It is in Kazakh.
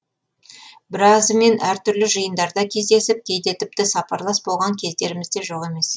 біразымен әртүрлі жиындарда кездесіп кейде тіпті сапарлас болған кездеріміз де жоқ емес